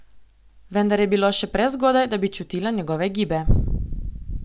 Vendar je bilo še prezgodaj, da bi čutila njegove gibe.